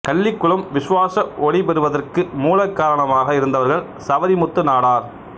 கள்ளிகுளம் விசுவாச ஒளி பெறுவதற்கு மூலகாரணமாக இருந்தவர்கள் சவரிமுத்து நாடார்